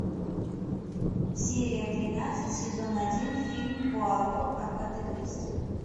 серия тринадцать сезон один фильм пуаро агаты кристи